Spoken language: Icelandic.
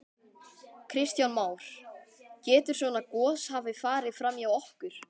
Kristján Már: Getur svona gos hafa farið fram hjá okkur?